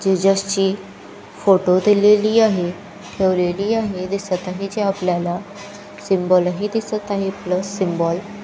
Jesus ची photo दिलेली आहे ठेवलेली आहे दिसतही आहे जी आपल्याला सिम्बॉल दिसत आहे प्लस सिम्बॉल .